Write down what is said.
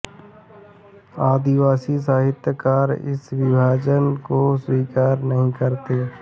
आदिवासी साहित्यकार इस विभाजन को स्वीकार नहीं करते